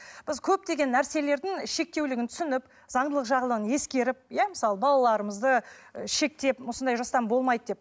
біз көптеген нәрселердің шектеулігін түсініп заңдылық жағынан ескеріп иә мысалы балаларымызды шектеп осындай жастан болмайды деп